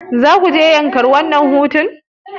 Zakuje yankari a wannan hutun?